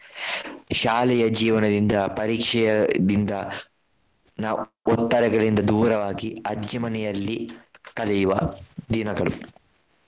ಶಾಲೆಯ ಜೀವನದಿಂದ ಪರೀಕ್ಷೆಯದಿಂದ ನಾವು ಒತ್ತಡಗಳಿಂದ ದೂರವಾಗಿ ಅಜ್ಜಿ ಮನೆಯಲ್ಲಿ ಕಲಿಯುವ ದಿನಗಳು.